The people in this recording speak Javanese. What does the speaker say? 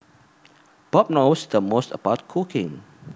Bob knows the most about cooking